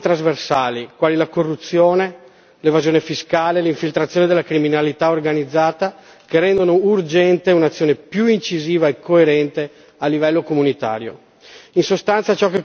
Vi sono poi alcuni mali trasversali, quali la corruzione, l'evasione fiscale e l'infiltrazione della criminalità organizzata, che rendono urgente un'azione più incisiva e coerente a livello comunitario.